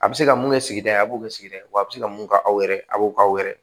A bɛ se ka mun kɛ sigida ye a b'o kɛ sigida ye wa a bɛ se ka mun k'aw yɛrɛ a b'o k'aw yɛrɛ ye